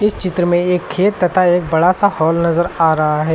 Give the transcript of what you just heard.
इस चित्र में एक खेत तथा एक बड़ा सा हॉल नजर आ रहा है।